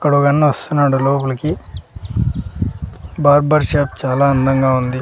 ఇక్కడ వెన్న వస్తున్నాడు లోపలికి బార్బర్ షాప్ చాలా అందంగా ఉంది.